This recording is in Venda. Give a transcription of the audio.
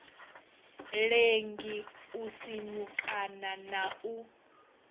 lengi u sinyukana na u